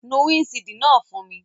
Nu windṣiidi naa fun mi!